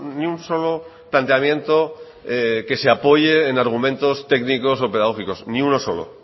ni un solo planteamiento que se apoye en argumentos técnicos o pedagógicos ni uno solo